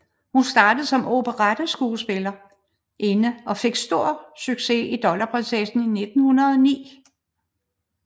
Hun startede som operetteskuespillerinde og fik stor succes i Dollarprinsessen i 1909